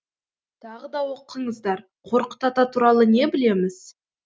тағы да оқыңыздарқорқыт ата туралы не білеміз